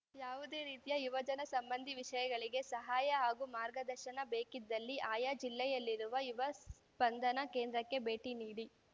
ಯಾವುದೆ ರೀತಿಯ ಯುವಜನ ಸಂಬಂಧಿ ವಿಷಯಗಳಿಗೆ ಸಹಾಯ ಹಾಗೂ ಮಾರ್ಗದರ್ಶನ ಬೇಕಿದ್ದಲ್ಲಿ ಆಯಾ ಜಿಲ್ಲೆಯಲ್ಲಿರುವ ಯುವ ಸ್ಪಂದನ ಕೇಂದ್ರಕ್ಕೆ ಭೇಟಿ ನೀಡಿ